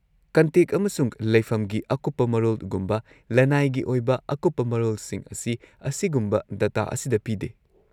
-Contact ꯑꯃꯁꯨꯡ ꯂꯩꯐꯝꯒꯤ ꯑꯀꯨꯞꯄ ꯃꯔꯣꯜꯒꯨꯝꯕ ꯂꯅꯥꯏꯒꯤ ꯑꯣꯏꯕ ꯑꯀꯨꯞꯄ ꯃꯔꯣꯜꯁꯤꯡ ꯑꯁꯤ, ꯑꯁꯤꯒꯨꯝꯕ ꯗꯇꯥ ꯑꯁꯤꯗ ꯄꯤꯗꯦ꯫